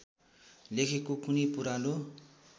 लेखेको कुनै पुरानो